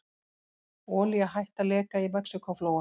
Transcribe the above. Olía hætt að leka í Mexíkóflóa